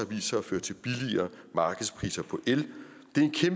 sig at føre til billigere markedspriser på el